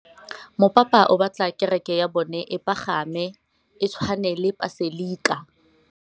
Mopapa o batla kereke ya bone e pagame, e tshwane le paselika.